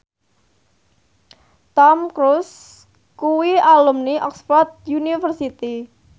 Tom Cruise kuwi alumni Oxford university